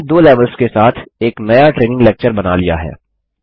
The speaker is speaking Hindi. हमने दो लेवल्स के साथ एक नया ट्रेनिंग लेक्चर बना लिया है